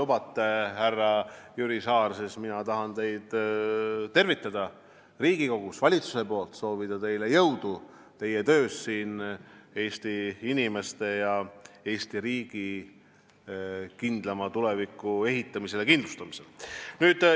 Kui te lubate, härra Jüri Saar, siis ma tervitan teid Riigikogus valitsuse nimel ning soovin teile jõudu teie töös Eesti inimeste ja Eesti riigi kindlama tuleviku ehitamisel ja kindlustamisel.